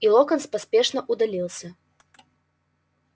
и локонс поспешно удалился